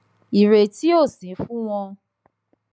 ìrètí ò sí fún wọn